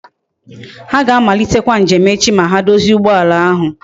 Ha ga amalitekwa njem echi ma ha dozie ugboala ahu